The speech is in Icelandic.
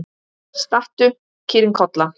Stattu, kýrin Kolla!